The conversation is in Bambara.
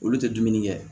Olu tɛ dumuni kɛ